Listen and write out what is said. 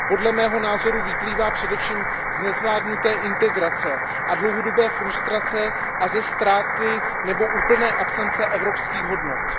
Podle mého názoru vyplývá především z nezvládnuté integrace a dlouhodobé frustrace a ze ztráty nebo úplné absence evropských hodnot.